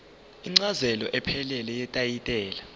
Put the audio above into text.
incazelo ephelele yetayitela